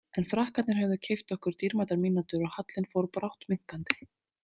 En Frakkarnir höfðu keypt okkur dýrmætar mínútur og hallinn fór brátt minnkandi.